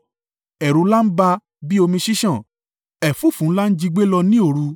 Ẹ̀rù ńlá bà á bí omi ṣíṣàn; ẹ̀fúùfù ńlá jí gbé lọ ní òru.